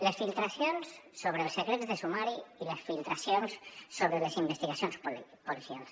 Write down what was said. les filtracions sobre els secrets de sumari i les filtracions sobre les investigacions policials